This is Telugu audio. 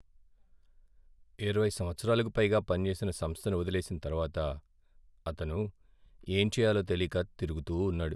ఇరవై సంవత్సరాలకు పైగా పనిచేసిన సంస్థను వదిలేసిన తరువాత, అతను ఏంచేయాలో తెలీక తిరుగుతూ ఉన్నాడు.